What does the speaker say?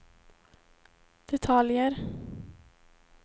detaljer